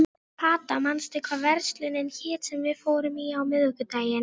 Sveinn Óli brá flautunni sinni inn í rautt skeggið.